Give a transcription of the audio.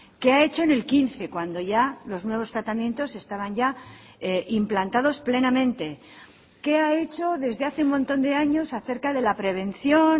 qué ha hecho en el quince cuando ya los nuevos tratamientos estaban ya implantados plenamente qué ha hecho desde hace un montón de años acerca de la prevención